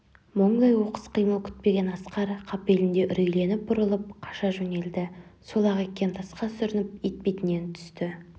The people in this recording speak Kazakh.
мұңдай оқыс қимыл күтпеген асқар қапелімде үрейленіп бұрылып қаша жөнелді сол-ақ екен тасқа сүрініп етбетінен түсті